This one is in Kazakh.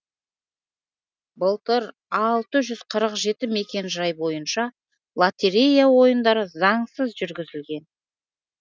былтыр алты жүз қырық жеті мекенжай бойынша лотерея ойындары заңсыз жүргізілген